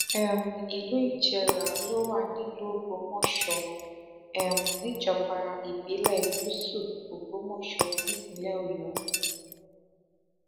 um ìlú ìjẹrà ló wà nílùú ògbómọṣọ um níjọba ìbílẹ gúúsù ògbómọṣọ nípínlẹ ọyọ